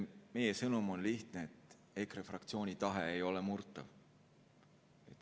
Meie sõnum on lihtne: EKRE fraktsiooni tahe ei ole murtav.